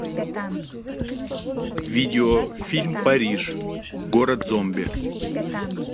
видеофильм париж город зомби